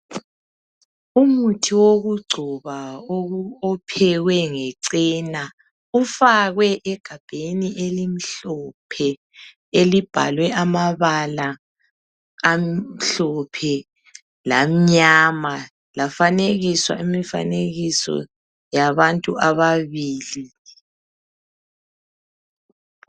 umuhi wokuchoba ophekwe nge cena ufakwe egabheni elimhlophe elibhalwe amabala amhlophe lamnyama lafanekiso imfanekiso yabantu ababili